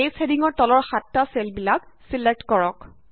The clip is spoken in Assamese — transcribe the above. ডেয়জ হেডিঙৰ তলৰ সাতটা চেল ছেলেক্ট কৰা